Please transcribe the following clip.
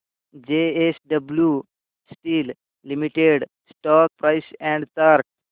JSW steel limited stock price and chart